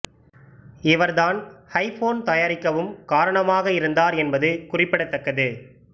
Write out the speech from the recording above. இவர் தான் ஐப்போன் தயாரிக்கவும் காரணமாக இருந்தார் என்பது குறிப்பிடத்தக்கது